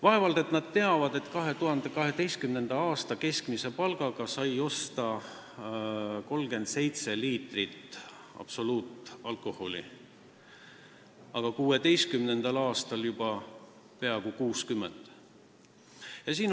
Vaevalt et nad teavad, et 2012. aasta keskmise palga eest sai osta 37 liitrit absoluutalkoholi, aga 2016. aastal juba peaaegu 60 liitrit.